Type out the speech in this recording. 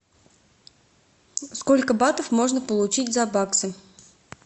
сколько батов можно получить за баксы